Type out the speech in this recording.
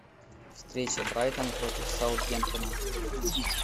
встреча брайтон против саутгемптона